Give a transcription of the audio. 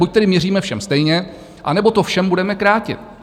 Buď tedy měříme všem stejně, anebo to všem budeme krátit.